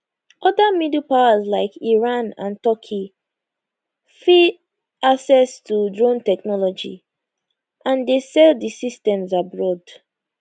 oda middle powers like iran and turkey fet access to drone technology and dey sell di systems abroad